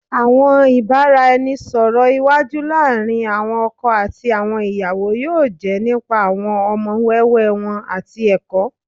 Awọn ibaraẹnisọrọ iwaju laarin awọn ọkọ ati awọn iyawo yoo jẹ nipa awọn ọmọ wẹwẹ wọn ati ẹkọ